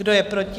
Kdo je proti?